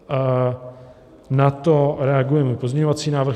Na to reaguje můj pozměňovací návrh.